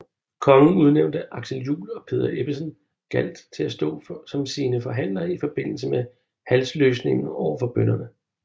Kongen udnævnte Axel Juel og Peder Ebbesen Galt til at stå som sine forhandlere i forbindelse med halsløsningen overfor bønderne